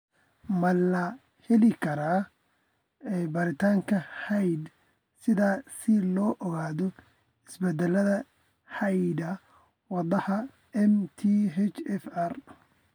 Ma la heli karaa baaritaanka hidde-sidaha si loo ogaado isbeddellada hidda-wadaha MTHFR?